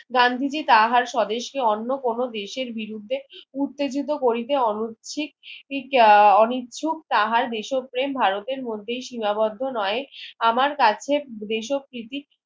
গান্ধীজি তাহার স্বদেশকে অন্য কোনো দেশের বিরুদ্ধে উত্তেজিত করিতে অনুচ্ছিক আহ অনিচ্ছুক তাহার দেশপ্রেম ভারতের মধ্যেই সীমাবদ্ধ নয় আমার কাছে দেশপ্রীতি